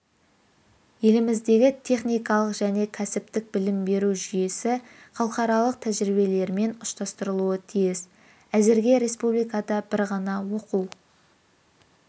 еліміздегі техникалық және кәсіптік білім беру жүйесі халықаралық тәжірибелермен ұштастырылуы тиіс әзірге республикада бір ғана оқу